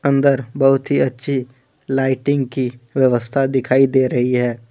अंदर बहुत ही अच्छी लाइटिंग की व्यवस्था दिखाई दे रही है।